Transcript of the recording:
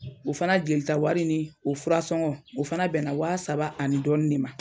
O fana jelita wari ni o fura sɔngɔ o fana bɛnna waa saba ani dɔɔni de ma.